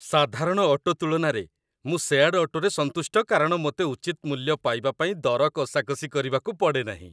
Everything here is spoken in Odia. ସାଧାରଣ ଅଟୋ ତୁଳନାରେ, ମୁଁ ସେୟାର୍ଡ଼ ଅଟୋରେ ସନ୍ତୁଷ୍ଟ କାରଣ ମୋତେ ଉଚିତ ମୂଲ୍ୟ ପାଇବା ପାଇଁ ଦର କଷାକଷି କରିବାକୁ ପଡ଼େ ନାହିଁ।